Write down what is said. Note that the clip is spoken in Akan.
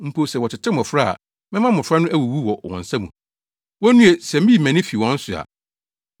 Mpo sɛ wɔtetew mmofra a, mɛma mmofra no awuwu wɔ wɔn nsa mu. Wonnue, sɛ miyi mʼani fi wɔn so a!